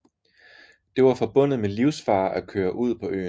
Det var forbundet med livsfare at køre ud på øen